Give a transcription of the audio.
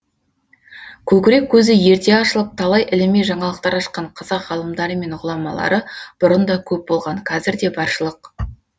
көкірек көзі ерте ашылып талай іліми жаңалықтар ашқан қазақ ғалымдары мен ғұламалары бұрын да көп болған кәзір де баршылық